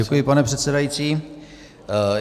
Děkuji, pane předsedající.